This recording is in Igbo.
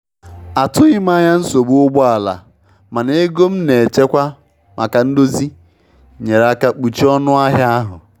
Atụghị m anya nsogbu ụgbọ ala, mana ego m na-echekwa maka ndozi nyeere aka kpuchie ọnụ ahịa ahụ.